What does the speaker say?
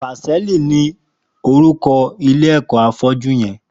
Pásẹlí ni órúkọ̀ ilé ẹkọ áfọ̀jù yèn